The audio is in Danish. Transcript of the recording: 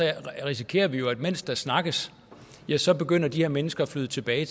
risikerer vi jo at mens der snakkes så begynder de her mennesker at flyde tilbage